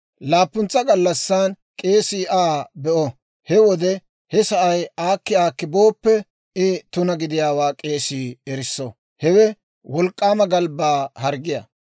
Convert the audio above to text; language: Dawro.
Laappuntsa gallassan k'eesii Aa be'o; he wode he sa'ay aakki aakki booppe, I tuna gidiyaawaa k'eesii erisso. Hewe wolk'k'aama galbbaa harggiyaa.